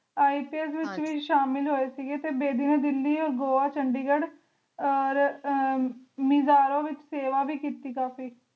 IPS ਵਿਚ ਵੀ ਸ਼ਾਮਿਲ ਹੋਏ ਸੀਗੇ ਤੇ ਬੇਦੀ ਨੇ ਗੋਆ ਦਿੱਲੀ ਚੰਡੀਗੜ੍ਹ ਮਿਜ਼ਾਰੋ ਵਿਚ ਸੇਵਾ ਵੀ ਕੀਤੀ